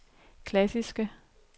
klassiske